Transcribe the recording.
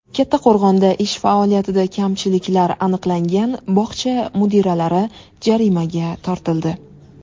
Kattaqo‘rg‘onda ish faoliyatida kamchiliklar aniqlangan bog‘cha mudiralari jarimaga tortildi.